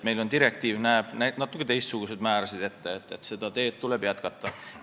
Direktiiv näeb ette natuke teistsuguseid määrasid, seda tööd tuleb jätkata.